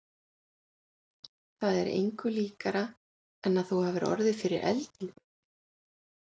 Það er engu líkara en að þú hafir orðið fyrir eldingu.